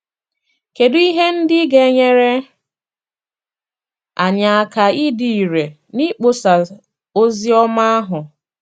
Kedụ ihe ndị ga - enyere anyị aka ịdị irè n’ịkpọsa ozi ọma ahụ?